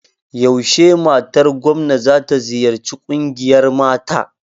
Yaushe matar gomna za ta ziyarci ƙungiyar mata?